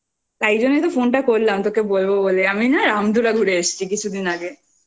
তাইজন্য তো phone টা করলাম তোকে বলব বলে আমি না রামধুরা ঘুরে এসেছি কিছুদিন আগে